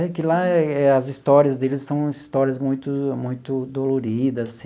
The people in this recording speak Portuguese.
É que lá as histórias deles são histórias muito muito doloridas.